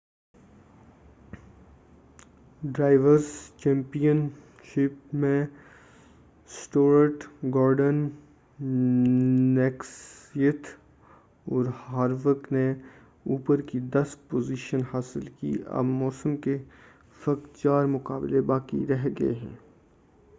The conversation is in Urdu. ڈرائیورس چیمپین شپ میں سٹورٹ گورڈن کنسیتھ اور ہاروک نے اوپر کی دس پوزیشن حاصل کی اب موسم کے فقط چار مقابلے باقی رہ گئے